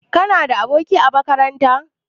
Kana da aboki a makaranta?